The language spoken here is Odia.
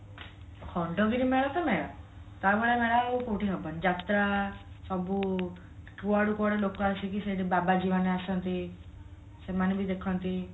ଖଣ୍ଡଗିରି ମେଳା ତ main ତା ଭଳିଆ ମେଳା ଆଉ କୋଉଠି ହବନି ଯାତ୍ରା ସବୁ କୁଆଡୁ କଣ ଲୋକ ଆସିକି ବାବାଜୀ ମାନେ ଆସନ୍ତି ସେମାନେ ବି ଦେଖନ୍ତି